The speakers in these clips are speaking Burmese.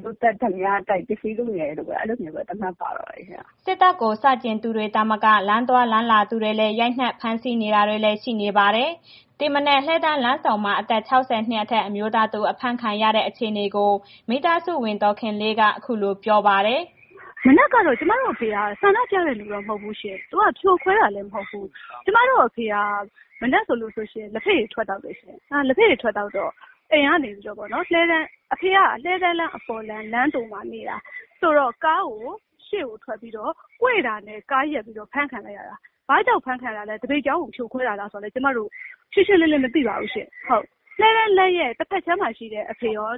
လူသတ်၊ ဓားပြတိုက်၊ ပစ္စည်းလုနေတယ်လို့ အဲ့ဒီလိုပဲ သတ်မှတ်ပါတော့တယ်။” စစ်တပ်ကို ဆန့်ကျင်သူတွေသာမက လမ်းသွားလမ်းလာသူတွေလည်း ရိုက်နှက်ဖမ်းဆီးနေတာလည်း ရှိပါတယ်။ ဒီမနက် လှည်းတန်းလမ်းဆုံမှာ အသက် ၆၀ နှစ်အထက် အမျိုးသားတစ်ဦး အဖမ်းခံရတဲ့ အခြေအနေကို မိသားစုဝင် ဒေါ်ခင်လေးက အခုလို ပြောပါတယ်။ “မနက်ကတော့ ကျမတို့ အဖေက ဆန္ဒပြတဲ့ လူတော့ မဟုတ်ဘူးရှင့်။ သူက ဖြိုခွဲတာလည်း မဟုတ်ဘူး။ ကျမတို့အဖေက မနက်ဆိုလို့ရှိရင် လက်ဖက်ရည်ထွက်သောက်တယ်ရှင်။ လက်ဖက်ရည်ထွက်သောက်တော့ အိမ်ကနေပြီးတော့ အဖေက လှည်းတန်းလမ်းအပေါ်လမ်း လမ်းဆုံမှာနေတာဆိုတော့ ကားကို ရှေ့ကို ထွက်ပြီးတော့ ကွေ့တာနဲ့ ကားရပ်ပြီး အဖမ်းခံလိုက်ရတာ။ ဘာကြောင့် အဖမ်းခံတာလဲ။ သပိတ်ကြောင်းကို ဖြိုခွဲတာလားဆိုတာ ကျမတို့ ရှင်းရှင်းလင်းလင်းမသိပါဘူးရှင်။ လှည်းတန်းလမ်းရဲ့ တစ်ဘက်ခြမ်းမှာရှိတဲ့ အဖေရော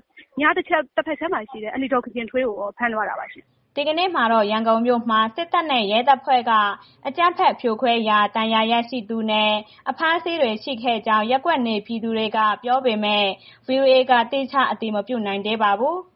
ညာတစ်ဘက်ခြမ်းမှာရှိတဲ့ အန်တီဒေါ်ခင်ခင်ထွေးကိုရော ဖမ်းသွားတာပါရှင်။” ဒီကနေ့မှာတော့ ရန်ကုန်မြို့မှာ စစ်တပ်နဲ့ ရဲတပ်ဖွဲ့က အကြမ်းဖက်ဖြိုခွဲရာ ဒဏ်ရာရှိသူနဲ့ အဖမ်းအဆီးတွေ ရှိခဲ့ကြောင်း ရပ်ကွက်နေပြည်သူတွေက ပြောပေမဲ့ ဗွီအိုအေဘက်က သီးခြားအတည်မပြုနိုင်သေးပါဘူး။